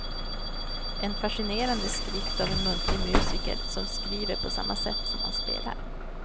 En fascinerande skrift av en muntlig musiker som skriver på samma sätt som han spelar.